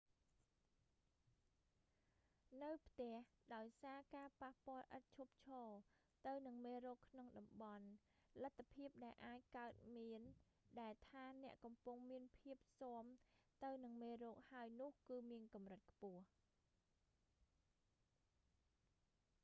នៅផ្ទះ ដោយសារការប៉ះពាល់ឥតឈប់ឈរទៅនឹងមេរោគក្នុងតំបន់ លទ្ធភាពដែលអាចកើតមានដែលថា អ្នកកំពុងមានភាពស៊ាំទៅនឹងមេរោគហើយនោះ គឺមានកម្រិតខ្ពស